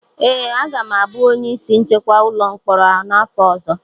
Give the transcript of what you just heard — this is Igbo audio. ee, aga m abụ onye isi nchekwa ụlọ mkpọrọ a n’afọ ọzọ